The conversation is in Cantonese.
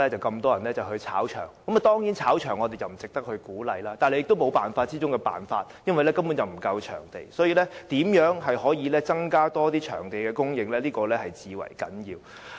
我們當然不鼓勵"炒場"，但這卻是沒有辦法之中的辦法，因為場地根本不足，所以，增加場地供應至為重要。